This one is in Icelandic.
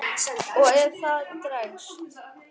Og ef það dregst.